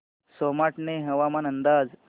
सोमाटणे हवामान अंदाज